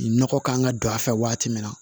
Nɔgɔ kan ka don a fɛ waati min na